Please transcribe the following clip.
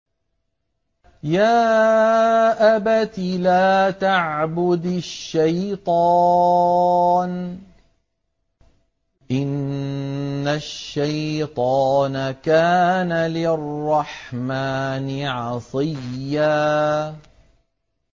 يَا أَبَتِ لَا تَعْبُدِ الشَّيْطَانَ ۖ إِنَّ الشَّيْطَانَ كَانَ لِلرَّحْمَٰنِ عَصِيًّا